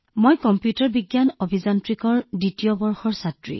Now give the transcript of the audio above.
মই কম্পিউটাৰ বিজ্ঞান অভিযান্ত্ৰিকৰ দ্বিতীয় বৰ্ষৰ ছাত্ৰী